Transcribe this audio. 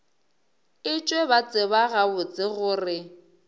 etšwe ba tseba gabotse gore